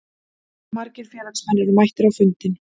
Margir félagsmenn eru mættir á fundinn